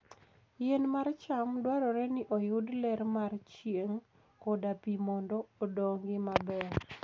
Yien mar cham dwarore ni oyud ler mar chieng' koda pi mondo odongi maber.